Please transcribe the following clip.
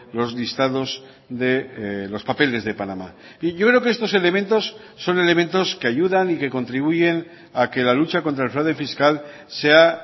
los listados de los papeles de panamá y yo creo que estos elementos son elementos que ayudan y que contribuyen a que la lucha contra el fraude fiscal sea